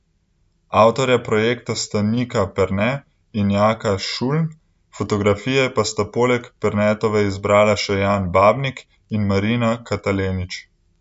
Avtorja projekta sta Nika Perne in Jaka Šuln, fotografije pa sta poleg Pernetove izbrala še Jan Babnik in Marina Katalenić.